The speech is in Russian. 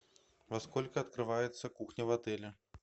во сколько открывается кухня в отеле